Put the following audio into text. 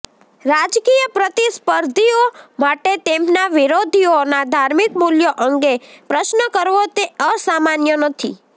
રાજકીય પ્રતિસ્પર્ધીઓ માટે તેમના વિરોધીઓના ધાર્મિક મૂલ્યો અંગે પ્રશ્ન કરવો તે અસામાન્ય નથી